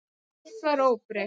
Allt var óbreytt.